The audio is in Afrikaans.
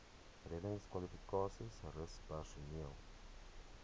reddingskwalifikasies rus personeel